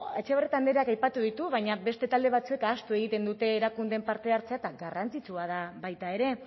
etxe horretan aipatu ditu baina beste talde batzuek ahaztu egiten dute erakundeen parte hartzea eta garrantzitsua da baita ere